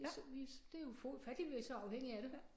Det vi det ufatteligt vi så afhængige af det